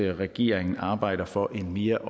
regeringen arbejder for en mere